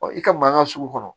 i ka mankan ka sugu kɔnɔ